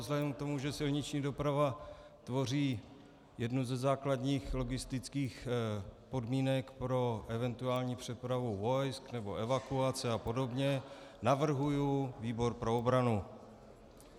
Vzhledem k tomu, že silniční doprava tvoří jednu ze základních logistických podmínek pro eventuální přepravu vojsk nebo evakuace a podobně, navrhuji výbor pro obranu.